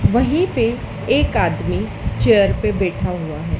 वही पे एक आदमी चेयर पे बैठा हुआ है।